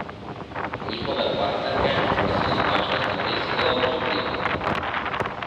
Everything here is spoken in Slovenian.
Njihove partnerke pa so na takšne stvari sila občutljive.